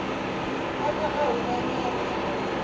u pfa a humanyana emhakeni